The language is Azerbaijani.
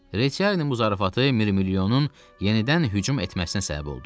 Reçiarinin müzərəffatı mirmilyonun yenidən hücum etməsinə səbəb oldu.